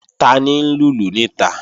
Tani ń lùlù níta?